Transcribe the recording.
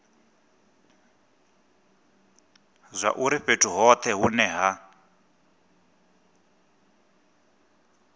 zwauri fhethu hothe hune ha